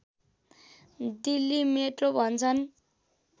Delhi metro भन्छन्